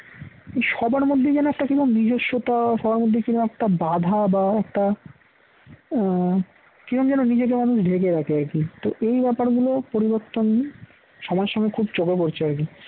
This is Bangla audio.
সবার মধ্যে যেন একটা কিরকম নিজস্বতা সবার মধ্যে কি রকম বাধা বা একটা আহ কিরকম যেন নিজেকে মানুষ ঢেকে রাখে আর কি তো এই ব্যাপারগুলো পরিবর্তন সময় সময়ে খুব চোখে পড়ছে আর কি